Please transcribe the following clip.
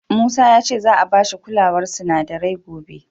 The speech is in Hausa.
Musa ya ce za'a ba shi kulawar sinadarai gobe.